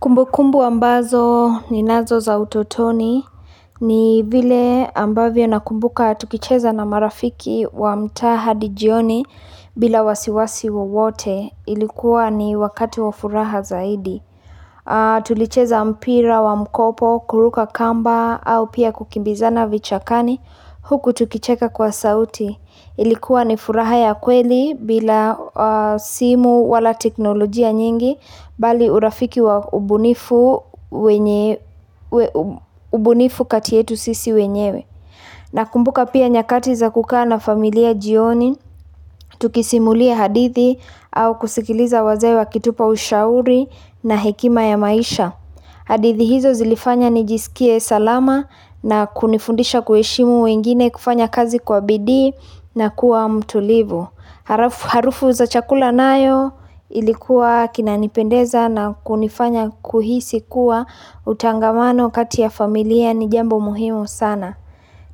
Kumbukumbu ambazo ninazo za utotoni ni vile ambavyo na kumbuka tukicheza na marafiki wa mtaa hadi jioni bila wasiwasi wowote, ilikuwa ni wakati wa furaha zaidi. Tulicheza mpira wa mkopo, kuruka kamba au pia kukimbizana vichakani huku tukicheka kwa sauti. Ilikuwa ni furaha ya kweli bila simu wala teknolojia nyingi bali urafiki wa ubunifu kati yetu sisi wenyewe. Nakumbuka pia nyakati za kukaa na familia jioni, tukisimulia hadithi au kusikiliza wazee wakitupa ushauri na hekima ya maisha. Hadithi hizo zilifanya nijisikie salama na kunifundisha kuheshimu wengine kufanya kazi kwa bidii na kuwa mtulivu. Harufu za chakula nayo ilikuwa kinanipendeza na kunifanya kuhisi kuwa utangamano kati ya familia ni jambo muhimu sana.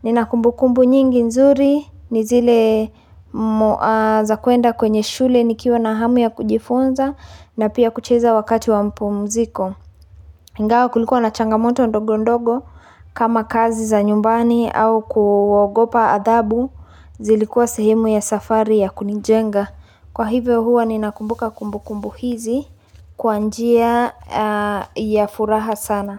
Nina kumbukumbu nyingi nzuri ni zile za kuenda kwenye shule nikiwa na hamu ya kujifunza na pia kucheza wakati wa mpumziko. Ingawa kulikuwa na changamoto ndogo ndogo kama kazi za nyumbani au kuogopa adhabu zilikuwa sehemu ya safari ya kunijenga. Kwa hivyo huwa ninakumbuka kumbukumbu hizi kwa njia ya furaha sana.